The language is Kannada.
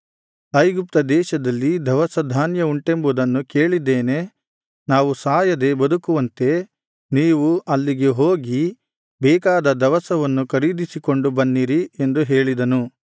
ಐಗುಪ್ತ ದೇಶದಲ್ಲಿ ದವಸಧಾನ್ಯ ಉಂಟೆಂಬುದನ್ನು ಕೇಳಿದ್ದೇನೆ ನಾವು ಸಾಯದೆ ಬದುಕುವಂತೆ ನೀವು ಅಲ್ಲಿಗೆ ಹೋಗಿ ಬೇಕಾದ ದವಸವನ್ನು ಖರೀದಿಸಿಕೊಂಡು ಬನ್ನಿರಿ ಎಂದು ಹೇಳಿದನು